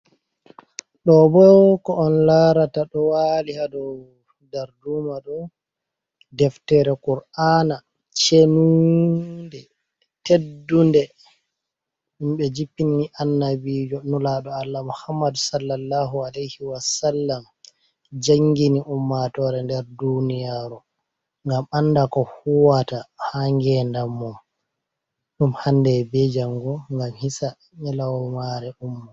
Ɗo bo ko on laarata ɗo waali haa dow darduuma ɗo, deftere Kur'aana cenuunde teddunde. Nde jippini Annabiijo nulaaɗo Allah Muhammadu Sallallahu Aleyhi Wa sallam, janngini ummatoore nder duuniyaaru ngam annda ko huwata haa ngeendam mum ,ɗum hannde be janngo ngam hisa nyelomaare ɗum.